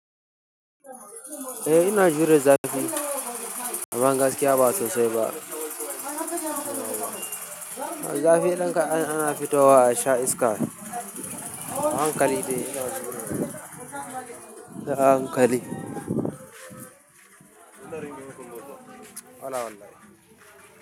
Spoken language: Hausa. Eh ina jiran zafi amma gaskiya ba sosai ba. Zafi idan ka, ana fito wa a sha iska. Hankali dai sai a, hankali. Allah wallahi.